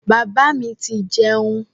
Bàbá mi ti jẹun.